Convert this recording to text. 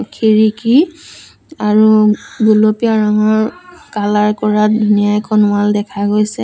খিৰিকী আৰু গুলপীয়া ৰঙৰ কালাৰ কৰা ধুনীয়া এখন ৱাল দেখা গৈছে।